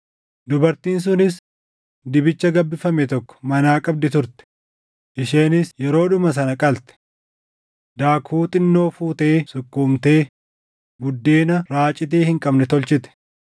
Dubartiin sunis dibicha gabbifame tokko manaa qabdi turte; isheenis yeroodhuma sana qalte. Daakuu xinnoo fuutee sukkuumtee buddeena raacitii hin qabne tolchite.